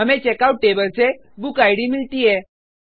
हमें checkout table से बुकिड मिलती है